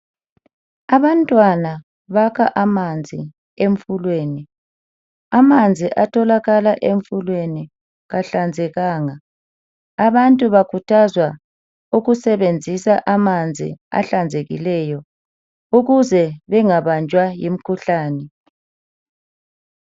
Abantwana bakha amanzi emfuleni. Amanzi atholakala emfuleni kahlanzekanga. Abantu bakhuthazwa ukusebenzisa amanzi ahlanzekileyo ukuze bengabanjwa yimkhuhlane.